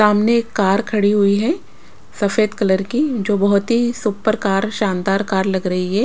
सामने एक कार खड़ी हुई है सफेद कलर की जो बहुत ही सुप्पर कार शानदार कार लग रही है।